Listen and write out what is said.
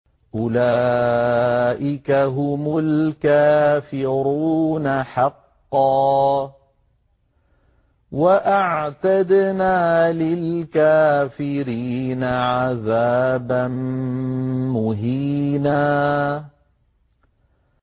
أُولَٰئِكَ هُمُ الْكَافِرُونَ حَقًّا ۚ وَأَعْتَدْنَا لِلْكَافِرِينَ عَذَابًا مُّهِينًا